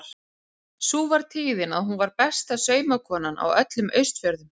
Sú var tíðin að hún var besta saumakonan á öllum Austfjörðum.